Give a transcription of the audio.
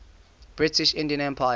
british indian empire